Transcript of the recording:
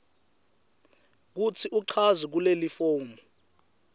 kutsi uchaze kulelifomu